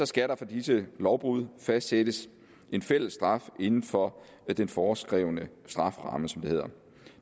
skal der for disse lovbrud fastsættes en fællesstraf inden for den foreskrevne strafferamme som det hedder